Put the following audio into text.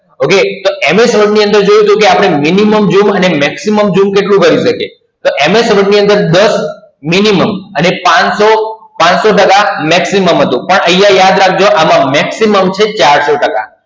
Okay તો MS Word ની અંદર આપણે જોયું તું કે Minimum અને Maximum Zoom કેટલું હોય શકે? તો MS Word ની અંદર દસ Minimum અને પાંચસો પાંચસો ટકા Maximum હતું. પણ અહિયાં યાદ રાખજો આમાં Maximum છે ચારસો ટકા.